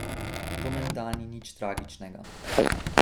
To menda ni nič tragičnega.